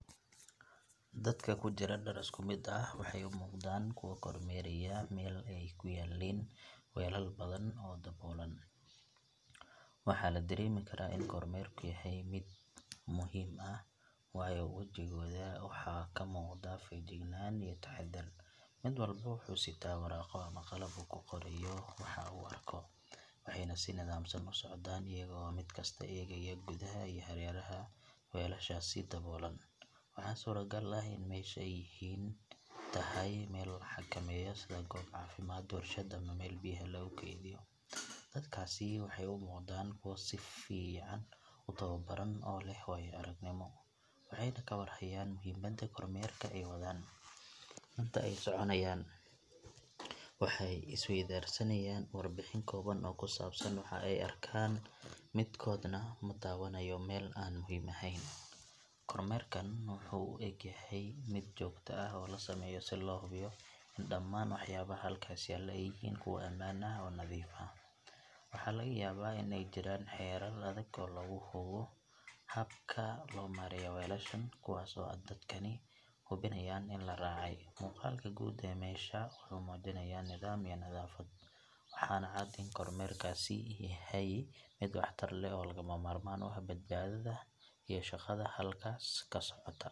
Dadka ku jira dhar isku mid ah waxay u muuqdaan kuwo kormeeraya meel ay ku yaalliin weelal badan oo daboolan. Waxaa la dareemi karaa in kormeerku yahay mid muhiim ah, waayo wejigooda waxaa ka muuqda feejignaan iyo taxaddar. Mid walba wuxuu sitaa waraaqo ama qalab uu ku qorayo waxa uu arko, waxayna si nidaamsan u socdaan iyaga oo mid kasta eegaya gudaha iyo hareeraha weelashaasi daboolan. Waxaa suuragal ah in meesha ay yihiin tahay meel la xakameeyo sida goob caafimaad, warshad, ama meel biyaha lagu keydiyo. Dadkaasi waxay u muuqdaan kuwo si fiican u tababaran oo leh waayo-aragnimo, waxayna ka war hayaan muhiimadda kormeerka ay wadaan. Inta ay soconayaan, waxay isweydaarsanayaan warbixin kooban oo ku saabsan waxa ay arkaan, midkoodna ma daawanayo meel aan muhiim ahayn. Kormeerkan wuxuu u eg yahay mid joogto ah oo loo sameeyo si loo hubiyo in dhammaan waxyaabaha halkaas yaalla ay yihiin kuwo ammaan ah oo nadiif ah. Waxaa laga yaabaa in ay jiraan xeerar adag oo lagu hago habka loo maareeyo weelashan, kuwaas oo dadkani hubinayaan in la raacay. Muuqaalka guud ee meesha wuxuu muujinayaa nidaam iyo nadaafad, waxaana cad in kormeerkaasi yahay mid waxtar leh oo lagama maarmaan u ah badbaadada iyo shaqada halkaas ka socota.